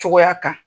Cogoya kan